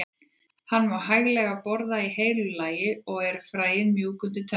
Hann má hæglega borða í heilu lagi og eru fræin mjúk undir tönn.